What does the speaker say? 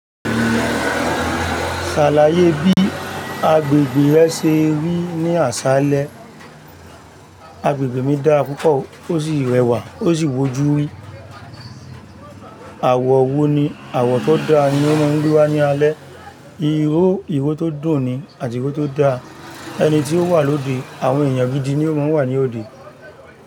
Ṣàlàyé bí agbègbè rẹ ṣe rí ní àṣálẹ́. Agbègbè mi dára púpọ̀ o, ó sì rẹwà, ó sì wò jú wí. Àwọ̀ wo ni àwọ̀ tó dáa ni ó máa ń gbe wa ní alẹ́? Iró, ìró tó dùn ni, àti ìró tó dáa. Ẹni tí ó wà lóde, àwọn èèyàn gidi ni ó máa ń wà ní òde.